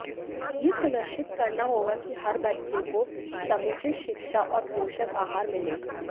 यह सुनिश्चित करना होगा कि हर बच्चे को समुचित शिक्षा और पोषक आहार मिले